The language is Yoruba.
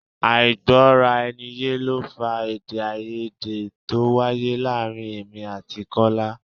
Àìgbọ-rà-ẹniye ló fa èdè-áiyedé to wáyé láàárín èmi àti Kọ́lá.